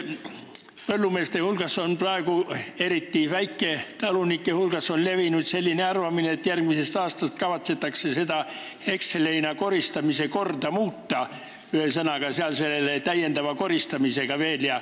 Põllumeeste hulgas, eriti väiketalunike hulgas on praegu levinud selline arvamine, et järgmisest aastast kavatsetakse hekselheina koristamise korda muuta, st tuleb veel täiendav koristamine.